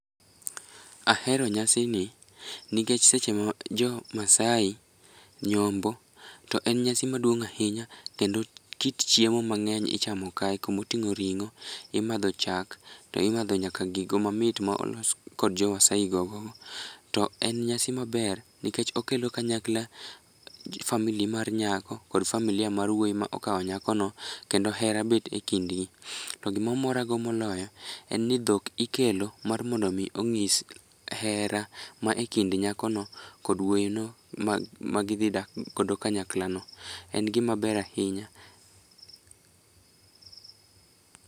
Ahero nyasini nikech seche ma jomaasai nyombo to en nyasi maduong' ahinya kendo kit chiemo mang'eny ichamo kae kumoting'o ring'o, imadho chak to imadho nyaka gigo mamit ma olos kod jomaasai gogogo, to en nyasi maber nikech okelo kanyakla family mar nyako kod familia mar wuoyi ma okwao nyakono kendo hera bet e kindgi. To gimomorago moloyo en ni dhok ikelo mar mondo mi ong'is hera ma e kind nyakono kod wuoyino magidhidak godo kanyaklano. En gimaber ahinya.